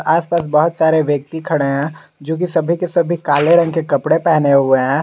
आस पास बहुत सारे व्यक्ति खड़े हैं जोकि सभी के सभी काले रंग के कपड़े पहने हुए हैं।